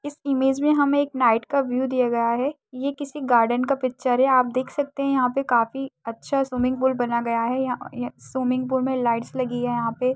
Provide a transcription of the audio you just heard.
इस इमेज में हमे एक नाईट का व्यू दिया गया है। ये किसी गार्डन का पिचर है। आप देख सकते हैं यहाँ पे काफी अच्छा स्विमिंग पूल बना गया है। यां ए स्विमिंग पूल में लाइट्स लगी है यहाँ पे।